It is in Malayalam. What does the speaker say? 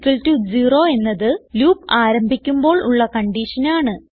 i 0 എന്നത് ലൂപ്പ് ആരംഭിക്കുമ്പോൾ ഉള്ള കൺഡിഷനാണ്